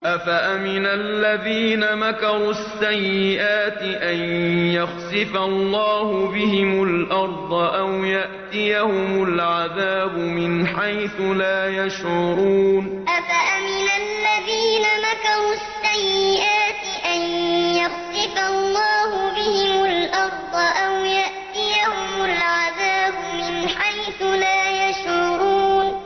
أَفَأَمِنَ الَّذِينَ مَكَرُوا السَّيِّئَاتِ أَن يَخْسِفَ اللَّهُ بِهِمُ الْأَرْضَ أَوْ يَأْتِيَهُمُ الْعَذَابُ مِنْ حَيْثُ لَا يَشْعُرُونَ أَفَأَمِنَ الَّذِينَ مَكَرُوا السَّيِّئَاتِ أَن يَخْسِفَ اللَّهُ بِهِمُ الْأَرْضَ أَوْ يَأْتِيَهُمُ الْعَذَابُ مِنْ حَيْثُ لَا يَشْعُرُونَ